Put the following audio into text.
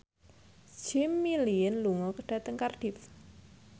Jimmy Lin lunga dhateng Cardiff